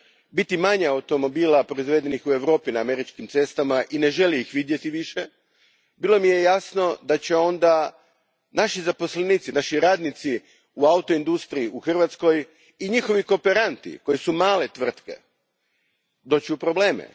biti manje automobila proizvedenih u Europi na američkim cestama i kako ih više ne želi vidjeti, bilo mi je jasno da će onda naši zaposlenici, naši radnici u autoindustriji u Hrvatskoj i njihovi kooperanti, koji su male tvrtke, doći u probleme.